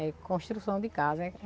É construção de casa.